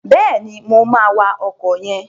Bẹ́ẹ̀ni, mo máa wa ọkọ̀ yẹn.